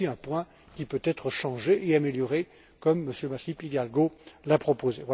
Voilà également un point qui peut être changé et amélioré, comme Monsieur Masip Hidalgo l'a proposé.